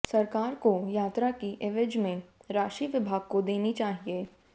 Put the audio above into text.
सरकार को यात्रा की एवज में राशि विभाग को देनी चाहिये